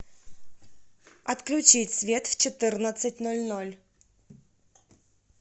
отключить свет в четырнадцать ноль ноль